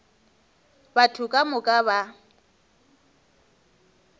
batho ka moka ba ba